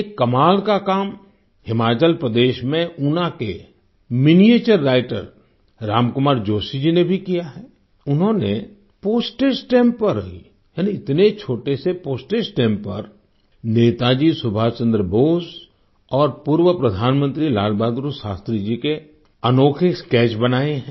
एक कमाल का काम हिमाचल प्रदेश में ऊना के मिनिएचर राइटर राम कुमार जोशी जी ने भी किया है उन्होनें पोस्टेज स्टैम्प्स पर ही यानी इतने छोटे पोस्टेज स्टैंप पर नेताजी सुभाष चंद्र बोस और पूर्व प्रधानमंत्री लाल बहादुर शास्त्री जी के अनोखे स्केच बनाए हैं